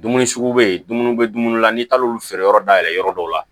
Dumuni sugu bɛ ye dumuniw bɛ dumuni la n'i taar'olu feere yɔrɔ dayɛlɛ yɔrɔ dɔw la